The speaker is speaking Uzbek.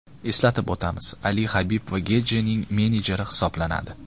Eslatib o‘tamiz, Ali Habib va Getjining menejeri hisoblanadi.